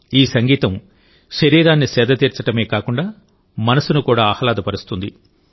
ఈ సంగీతం శరీరాన్ని సేద తీర్చడమే కాకుండా మనసును కూడా ఆహ్లాదపరుస్తుంది